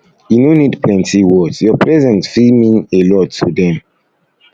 e no need plenty words your presence fit mean presence fit mean a lot to dem